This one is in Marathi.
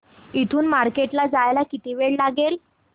इथून मार्केट ला जायला किती वेळ लागेल